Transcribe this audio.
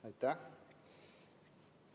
Aitäh!